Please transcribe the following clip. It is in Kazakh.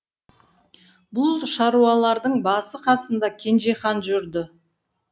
бұл шаруалардың басы қасында кенжехан жүрді